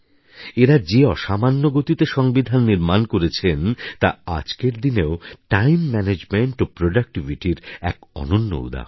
এঁরা যে অসামান্য গতিতে সংবিধান নির্মাণ করেছেন তা আজকের দিনেও টাইম ম্যানেজমেন্ট ও প্রোডাক্টিভিটির এক অনন্য উদাহরণ